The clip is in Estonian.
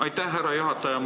Aitäh, härra juhataja!